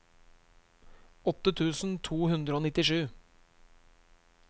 åtte tusen to hundre og nittisju